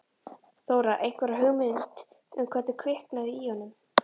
Þóra: Einhverja hugmynd um hvernig kviknaði í honum?